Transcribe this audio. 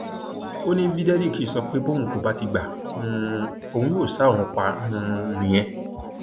ó ní bí derrick ṣe sọ pé bóun kò bá ti gba um òun yóò ṣa òun pa um nìyẹn